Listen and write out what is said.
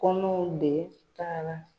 Kɔnɔw de taara